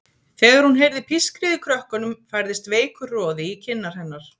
Þegar hún heyrði pískrið í krökkunum færðist veikur roði í kinnar hennar.